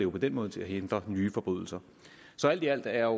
på den måde til at hindre nye forbrydelser alt i alt er